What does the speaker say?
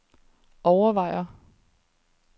overvejer